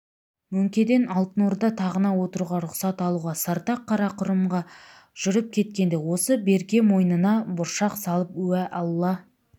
мөңкеден алтын орда тағына отыруға рұқсат алуға сартақ қарақұрымға жүріп кеткенде осы берке мойнына бұршақ салып уә алла